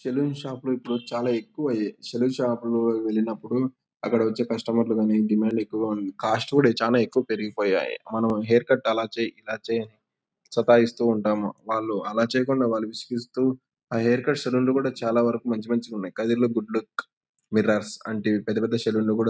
Saloon షాపులు ఇప్పుడు చాలా ఎక్కువయ్యాయి. సెలూన్ షాపులు వెళ్ళినప్పుడు అక్కడ వచ్చే కస్టమర్ లు డిమాండ్ ఎక్కువుగా ఉంది. కాస్ట్ కూడా చానా ఎక్కువ పెరిగిపోయాయి. మనం హెయిర్ కట్ ఆలా చెయ్ ఇలా చెయ్ అని సతాయిస్తూ ఉంటాము. వాళ్ళు ఆలా చేయకుండా వాళ్ళు విసిగిస్తూ ఆ హెయిర్ కట్ సెలూన్ లు కూడా చాలా వరకు మంచి మంచి గున్నాయ్. గుడ్ లుక్ మిర్రర్స్ పెద్ద పెద్ద సెలూన్ లో కూడా--